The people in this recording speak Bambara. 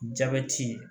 Jabɛti